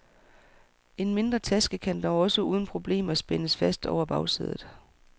En mindre taske kan dog også uden problemer spændes fast over bagsædet.